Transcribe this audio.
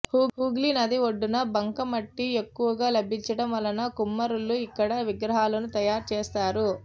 హూగ్లీ నది ఒడ్డున బంకమట్టి ఎక్కువగా లభించటం వలన కుమ్మరులు ఇక్కడ విగ్రహాలను తయారుచేస్తారు